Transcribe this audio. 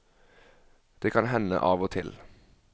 Det kan hende av og til.